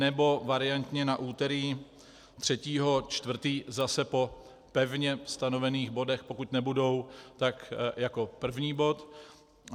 Nebo variantně na úterý 3. 4. zase po pevně stanovených bodech, pokud nebudou, tak jako první bod.